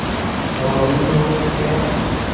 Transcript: बावली हो क्या